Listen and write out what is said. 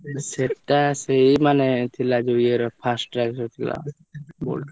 ସେଟା ସେଇ ମାନେ ଥିଲା ଯୋଉ ଇଏ ର Fastrack ଯୋଉ ଥିଲା Boltt ର।